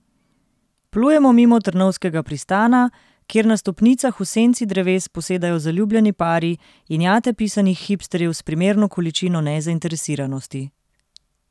Plujemo mimo Trnovskega pristana, kjer na stopnicah v senci dreves posedajo zaljubljeni pari in jate pisanih hipsterjev s primerno količino nezainteresiranosti.